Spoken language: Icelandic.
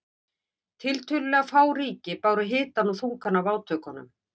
Tiltölulega fá ríki báru hitann og þungann af átökunum.